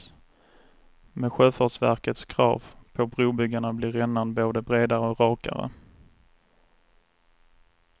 Med sjöfartsverkets krav på brobyggarna blir rännan både bredare och rakare.